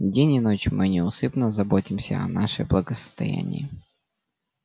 день и ночь мы неусыпно заботимся о нашей благосостоянии